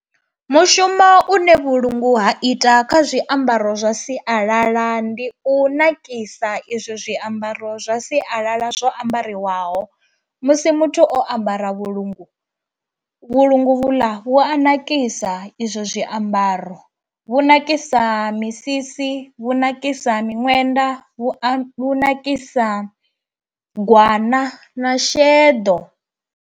Mushumo une vhulungu ha ita kha zwiambaro zwa sialala ndi u nakisa izwo zwiambaro zwa sialala zwo ambariwaho, musi muthu o ambara vhulungu, vhulungu vhu ḽa vhu a nakisa izwo zwiambaro vhu nakisa misisi, vhu nakisa miṅwenda, vhu a vhu nakisa gwana na sheḓo.